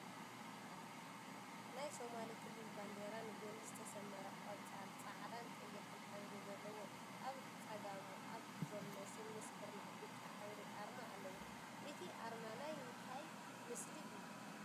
ናይ ሶማሊ ክልል ባንዴራ ንጐኒ ዝተሰመረ ቆፃል፣ ፃዕዳን ቀይሕን ሕብሪ ዘለዎ እዩ፡፡ ኣብ ፀጋሙ ኣብ ዘሎ ስሉስ ኩርናዕ ብጫ ሕብሪ ኣርማ ኣለዎ፡፡ እቲ ኣርማ ናይ እንታይ ምስሊ እዩ?